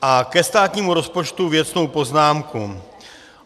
A ke státnímu rozpočtu věcnou poznámku.